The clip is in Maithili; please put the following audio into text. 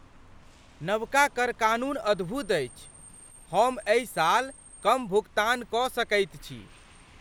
नबका कर कानून अद्भुत अछि! हम एहि साल कम भुगतान क सकैत छी ।